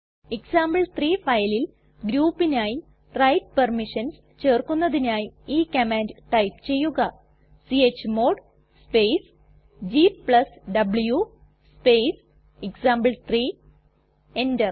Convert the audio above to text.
example three ഫയലിൽ groupനായി write permissions ചേർക്കുന്നതിനായി ഈ കമാൻഡ് ടൈപ്പ് ചെയ്യുക chmod space gw space example three enter